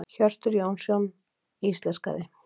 Hjörtur Jónsson íslenskaði.